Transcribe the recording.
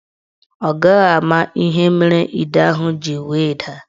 Ọ gaghị ama ihe mere ide ahụ ji wee daa.